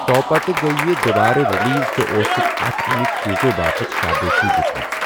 تۄپتہٕ گٔیہِ یہِ دوبارٕ ریلیز تہٕ اوسُکھ اَتھ اَمٕکۍ چیٖزَو باپتھ شابٲشی دِژمٕژ۔